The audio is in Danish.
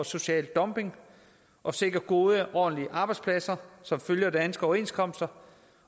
social dumping og sikre gode ordentlige arbejdspladser som følger danske overenskomster